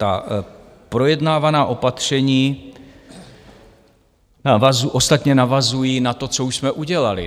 Ta projednávaná opatření ostatně navazují na to, co už jsme udělali.